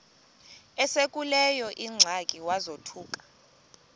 esekuleyo ingxaki wazothuka